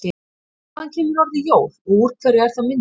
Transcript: Hvaðan kemur orðið jól og úr hverju er það myndað?